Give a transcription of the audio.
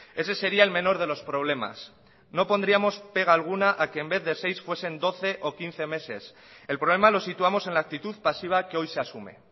ese sería el menor de los problemas no pondríamos pega alguna a que en vez de seis fuesen doce o quince meses el problema lo situamos en la actitud pasiva que hoy se asume